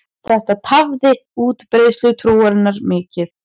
Þetta tafði útbreiðslu trúarinnar mikið.